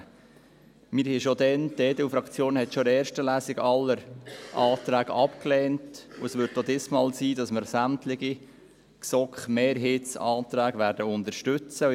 Wir lehnten schon damals, die EDU-Fraktion lehnte schon in erster Lesung alle Anträge ab, und es wird auch diesmal so sein, dass wir sämtliche GSoK-Mehrheitsanträge unterstützen werden.